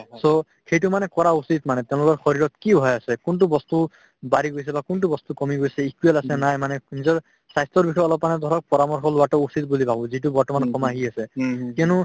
so সেইটো মানে কৰা উচিত মানে তেওঁলোকৰ শৰীৰত কি হৈ আছে কোনতো বস্তু বাঢ়ি গৈছে বা কোনতো বস্তু কমি গৈছে equal আছে নে নাই মানে নিজৰ স্বাস্থ্যৰ বিষয়ে অলপ মানে ধৰক পৰামৰ্শ লোৱাতো উচিত বুলি ভাবো যিটো বৰ্তমান অসম আহি আছে কিয়নো